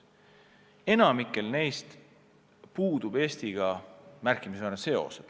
Enamikul neist puudub Eestiga märkimisväärne seos.